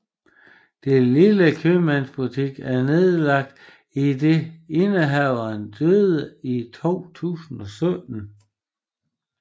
Den lille købmandsbutik er nedlagt idet indehaveren døde i 2017